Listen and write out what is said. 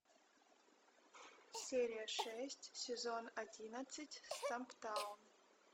серия шесть сезон одиннадцать стамптаун